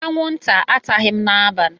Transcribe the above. Anwụnta ataghị m n'abalị.